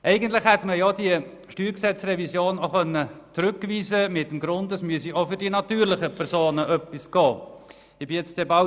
Eigentlich hätte man die StG-Revision auch mit der Begründung zurückweisen können, es müsse auch für die natürlichen Personen etwas getan werden.